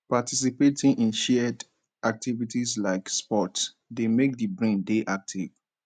participating in shared activities like sports dey make di brain dey active